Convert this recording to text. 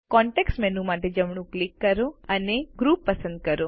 context menu માટે જમણું click કરો અને ગ્રુપ પસંદ કરો